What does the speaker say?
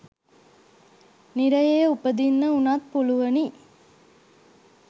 නිරයේ උපදින්න වුනත් පුළුවනි.